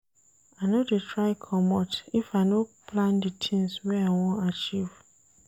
I no dey try comot if I no plan di tins wey I wan achieve.